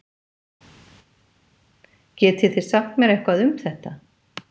Getið þið sagt mér eitthvað um þetta?